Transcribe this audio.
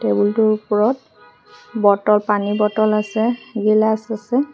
Table টোৰ ওপৰত bottle পানী বটল আছে গিলাছ আছে।